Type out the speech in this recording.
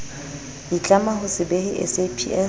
itlama ho se behe saps